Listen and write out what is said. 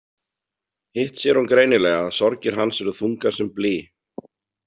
Hitt sér hún greinilega að sorgir hans eru þungar sem blý.